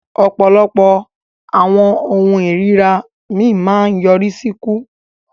Ọpọlọpọ awọn ohun ìríra mi maa ń nyorisi iku.